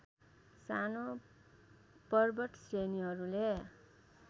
सानो पर्वत श्रेणीहरूले